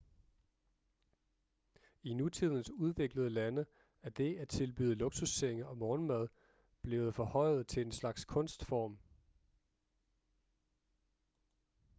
i nutidens udviklede lande er det at tilbyde luksussenge og morgenmad blevet forhøjet til en slags kunstform